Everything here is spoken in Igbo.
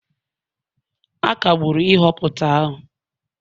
A kagburu nhọpụta ahụ